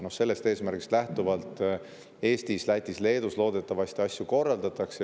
Sellest eesmärgist lähtuvalt Eestis, Lätis ja Leedus loodetavasti asju korraldatakse.